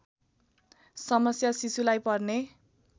समस्या शिशुलाई पर्ने